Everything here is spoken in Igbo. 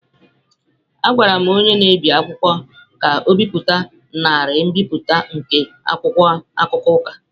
Agwara m onye na-ebi akwụkwọ ka o bipụta narị mbipụta nke akwụkwọ akụkọ Ụka.